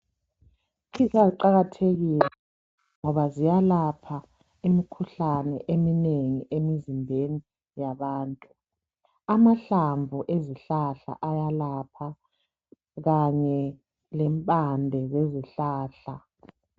Izihlahla ziqakathekile ngoba ziyalapha imikhuhlane eminengi emizimbeni yabantu. Amahlamvu ezihlahla ayalapha kanye lempande zezihlahla.